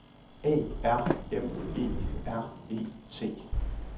A R M E R E T